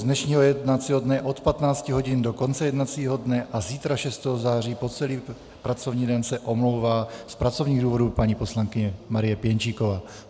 Z dnešního jednacího dne od 15 hodin do konce jednacího dne a zítra 6. září po celý pracovní den se omlouvá z pracovních důvodů paní poslankyně Marie Pěnčíková.